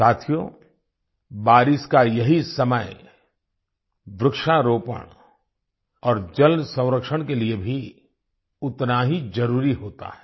साथियो बारिश का यही समय वृक्षारोपण और जल संरक्षण के लिए भी उतना ही जरुरी होता है